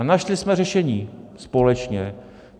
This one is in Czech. A našli jsme řešení společně.